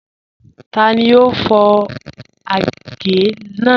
Tani o fọ agẹ̀ naa?